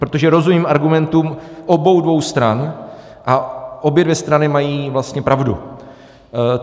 Protože rozumím argumentům obou dvou stran a obě dvě strany mají vlastně pravdu.